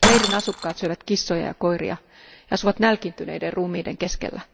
Leirin asukkaat syövät kissoja ja koiria ja asuvat nälkiintyneiden ruumiiden keskellä.